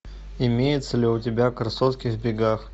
имеется ли у тебя красотки в бегах